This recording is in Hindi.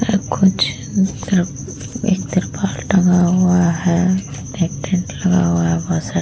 ऐ कुछ तरफ एक तिरपाल टंगा हुआ है। एक टेंट लगा हुआ है। बहोत सारे --